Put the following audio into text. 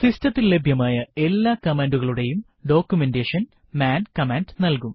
സിസ്റ്റത്തിൽ ലഭ്യമായ എല്ലാ കമാൻഡുകളുടെയും ഡോക്യുമെന്റേഷൻ മാൻ കമാൻഡ് നൽകും